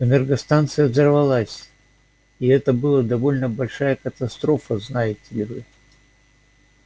энергостанция взорвалась и это была довольно большая катастрофа знаете ли